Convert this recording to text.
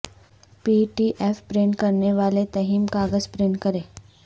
پی D F print کرنے والے theme کاغذ پرنٹ کریں